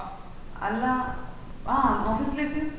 എല്ലാ ആഹ് office ലേക്ക